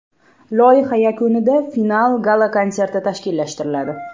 Loyiha yakunida final gala-konserti tashkillashtiriladi.